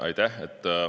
Aitäh!